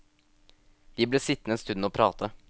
Vi ble sittende en stund og prate.